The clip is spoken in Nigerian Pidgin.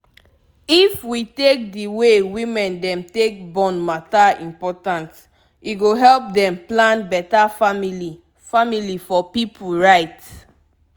if we take d way women dem take born matter important e go help dem plan beta family family for pipu right